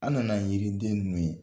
An nana yiriden ninnu ye